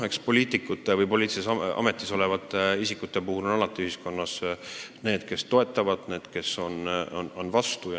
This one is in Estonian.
Eks poliitikute ja poliitilises ametis olevate isikute puhul on alati nii, et osa inimesi toetab neid ja osa on nende vastu.